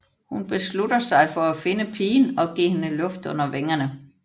Hun beslutter sig for at finde pigen og give hende luft under vingerne